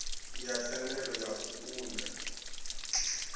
ya thendelo ya u ṱun